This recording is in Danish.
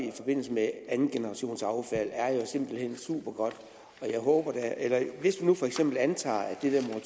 i forbindelse med andengenerationsaffald er jo simpelt hen supergodt hvis vi nu for eksempel antager at det her